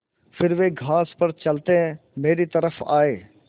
फिर वे घास पर चलते मेरी तरफ़ आये